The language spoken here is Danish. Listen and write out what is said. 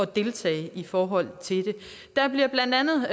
deltage i forhold til det der bliver blandt andet